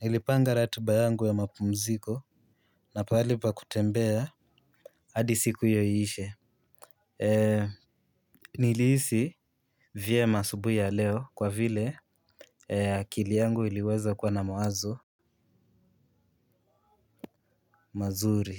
Nilipanga ratiba yangu ya mapumziko na pahali pa kutembea hadi siku hiyo iishe. Nilihisi vyema asubuhi ya leo kwa vile akili yangu iliweza kuwa na mawazo mazuri.